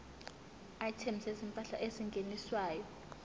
items zezimpahla ezingeniswayo